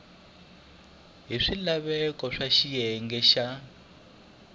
hi swilaveko swa xiyenge xa